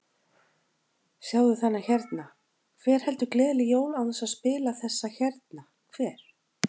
Sjáðu þennan hérna, hver heldur gleðileg jól án þess að spila þessa hérna, hver?